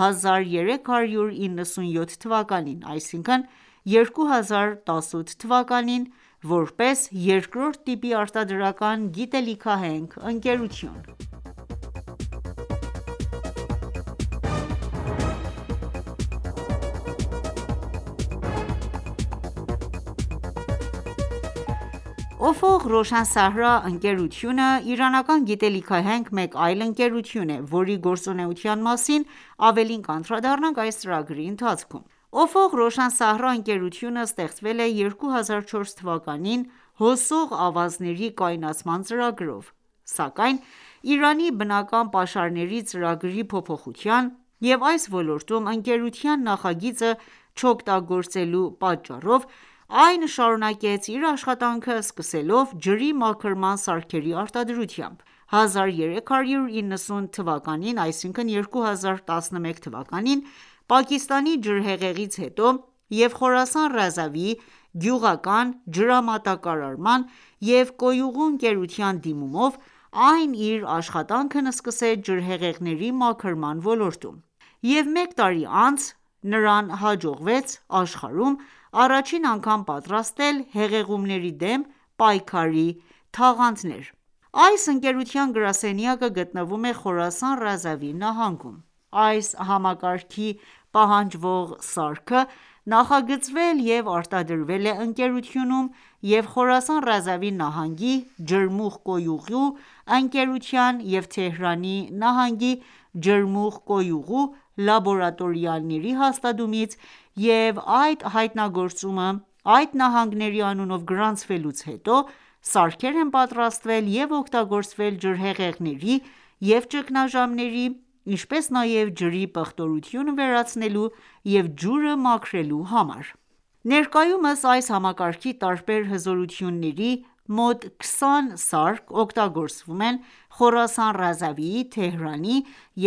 1397 թվականին ՝ որպես 2-րդ տիպի արտադրական գիտելիքահենք ընկերություն։ «Օֆող Ռոշան Սահրա» ընկերությունը իրանական գիտելիքահենք մեկ այլ ընկերություն է, որի գործունեության մասին ավելին կանդրադառնանք այս ծրագրի ընթացքում։ «Օֆող Ռոշան Սահրա» ընկերությունը ստեղծվել է 2004թ.-ին` հոսող ավազների կայունացման ծրագրով:Սակայն Իրանի բնական պաշարների ծրագրի փոփոխության և այս ոլորտում ընկերության նախագիծը չօգտագործելու պատճառով, այն շարունակեց իր աշխատանքը՝ սկսելով ջրի մաքրման սարքերի արտադրությամբ։1390 թվականին Պակիստանի ջրհեղեղից հետո և Խորասան Ռազավի գյուղական ջրամատակարարման և կոյուղու ընկերության դիմումով այն իր աշխատանքն սկսեց ջրհեղեղների մաքրման ոլորտում:Եվ մեկ տարի անց նրան հաջողվեց աշխարհում առաջին անգամ պատրաստել հեղեղումների դեմ պայքարի թաղանթներ։ Այս ընկերության գրասենյակը գտնվում է Խորասան Ռազավի նահանգում։ Այս համակարգի պահանջվող սարքը նախագծվել և արտադրվել է ընկերությունում և Խորասան Ռազավի նահանգի ջրմուղ-կոյուղու ընկերության և Թեհրանի նահանգի ջրմուղ-կոյուղու լաբորատորիաների հաստատումից և այդ հայտնագործումը այդ նահանգների անունով գրանցվելուց հետո, սարքեր են պատրաստվել և օգտագործվել ջրհեղեղների և ճգնաժամերի, ինչպես նաև ջրի պղտորությունը վերացնելու և ջուրը մաքրելու համար:Ներկայումս այս համակարգի տարբեր հզորությունների մոտ քսան սարք օգտագործվում են Խորասան Ռազավիի, Թեհրանի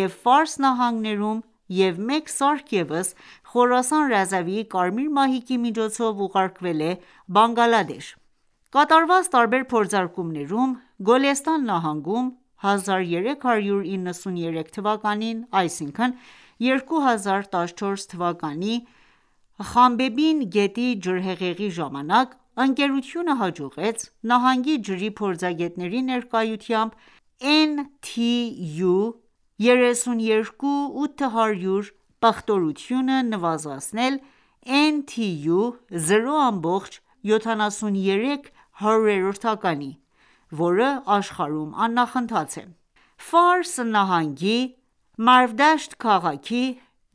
և Ֆարս նահանգներում և մեկ սարք ևս Խորասան Ռազավիի Կարմիր մահիկի միջոցով ուղարկվել է Բանգալադեշ: Կատարված տարբեր փորձարկումներում, Գոլեստան նահանգում 1393 թվականի Խանբեբին գետի ջրհեղեղի ժամանակ, ընկերությունը հաջողեց նահանգի ջրի փորձագետների ներկայությամբ NTU32800 պղտորությունը նվազեցնել NTU 0.73-ի որը աշխարհում աննախընթաց է:ّՖարս նահանգի Մարվդաշտ քաղաքի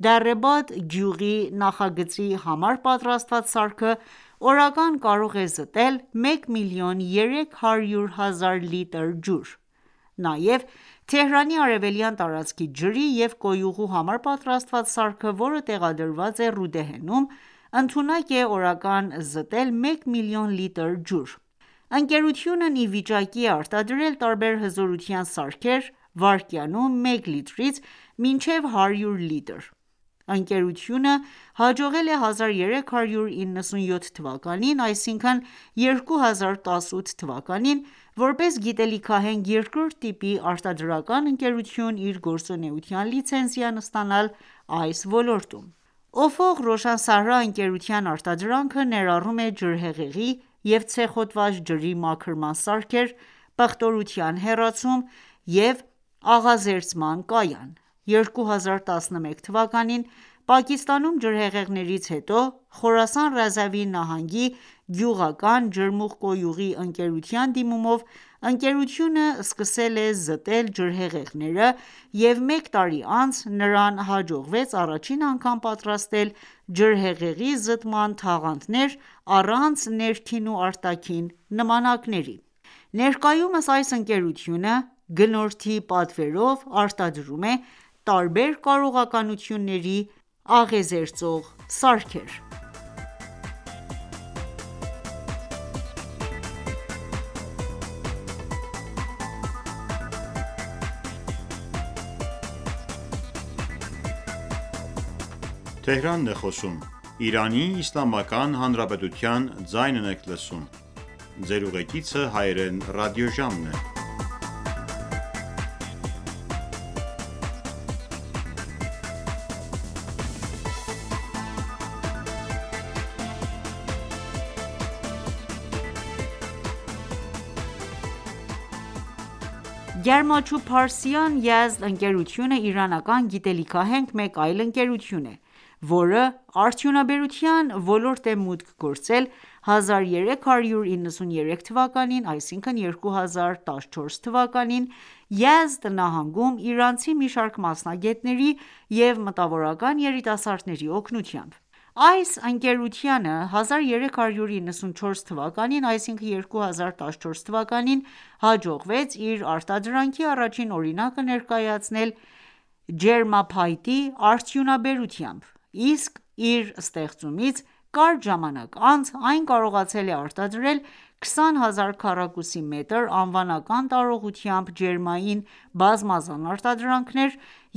Դառե Բադ գյուղի նախագծի համար պատրաստված սարքը ,օրական կարող է զտել մեկ միլիոն 300.000 լիտր ջուր:Նաև Թեհրանի արևելյան տարածքի ջրի և կոյուղու համար պատրաստված սարքը, որը տեղադրված է Ռուդեհենում, ընդունակ է օրական զտել մեկ միլիոն լիտր ջուր: Ընկերությունն ի վիճակի է արտադրել տարբեր հզորության սարքեր՝ վայրկյանում մեկ լիտրից մինչև հարյուր լիտր ։Ընկերությունը հաջողել է 1397 թվականին, որպես գիտելիքահենք 2-րդ տիպի արտադրական ընկերություն, իր գործունեության լիցենզիան ստանալ այս ոլորտում։ «Օֆող Ռոշան Սահրա» ընկերության արտադրանքը ներառում է ջրհեղեղի և ցեխոտված ջրի մաքրման սարքեր և աղազերծման կայան:2011 թվականին, Պակիստանում ջրհեղեղներից հետո, Խորասան Ռազավի նահանգի Գյուղական ջրմուղ-կոյուղի ընկերության դիմումով, ընկերությունը սկսել է զտել ջրհեղեղները և մեկ տարի անց ,նրան հաջողվեց առաջին անգամ պատրաստել ջրհեղեղի զտման թաղանթներ առանց ներքին ու արտաքին նմանակների: Ներկայումս այս ընկերությունը, գնորդի պատվերով արտադրում է տարբեր կարողականությունների աղազերծող սարքեր: «Գարմա Չուբ Փարսիան Յազդ»-ընկերությունը իրանական գիտելիքահենք մեկ այլ ընկերություն է, որը արդյունաբերության ոլորտ է մուտք գործել 1393թվականին Յազդ նահանգում իրանցի մի շարք մասնագետների և մտավորական երիտասարդների օգնությամբ։ Այս ընկերությանը 1394 թվականին հաջողվեց իր արտադրանքի առաջին օրինակը ներկայացնել ջերմափայտի արդյունաբերությամբ, իսկ իր ստեղծումից կարճ ժամանակ անց, այն կարողացել է արտադրել 20.000 քառակուսի մետր անվանական տարողությամբ ջերմային բազմազան արտադրանքներ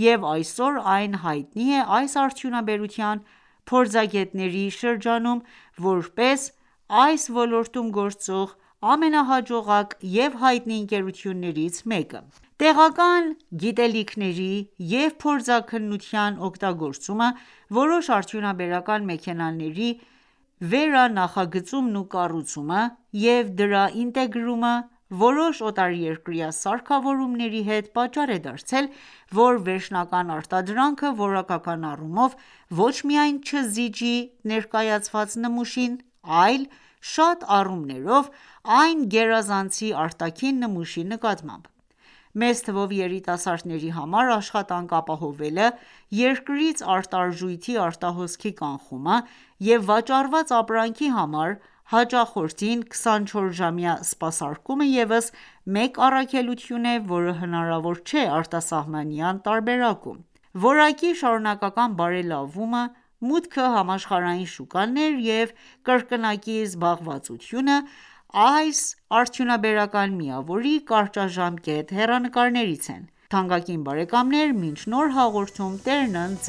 և այսօր այն հայտնի է այս արդյունաբերության փորձագետների շրջանում, որպես այս ոլորտում գործող ամենահաջողակ և հայտնի ընկերություններից մեկը։ Տեղական գիտելիքների և փորձաքննության օգտագործումը, որոշ արդյունաբերական մեքենաների վերանախագծումն ու կառուցումը և դրա ինտեգրումը որոշ օտարերկրյա սարքավորումների հետ պատճառ է դարձել ,որ վերջնական արտադրանքը որակական առումով ոչ միայն չզիջի ներկրված նմուշին, այլ շատ առումներով այն գերազանցի արտաքին նմուշի նկատմամբ։ Մեծ թվով երիտասարդների համար աշխատանք ապահովելը, երկրից արտարժույթի արտահոսքի կանխումը և վաճառված ապրանքի համար հաճախորդին 24-ժամյա սպասարկումը եւս մեկ առավելություն է, որը հնարավոր չէ արտասահմանյան տարբերակում։ Որակի շարունակական բարելավումը, մուտքը համաշխարհային շուկաներ և կրկնակի զբաղվածությունը, այս արդյունաբերական միավորի կարճաժամկետ հեռանկարներից են: Թանկագին բարեկամներ, մինչ նոր հաղորդում Տերն ընդ